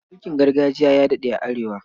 Mulkin gargajiya ya daɗe a Arewa.